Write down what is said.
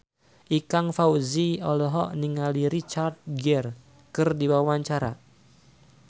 Ikang Fawzi olohok ningali Richard Gere keur diwawancara